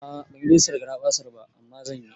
A'a banyi rigistan garaɓasar ba, amma zan yi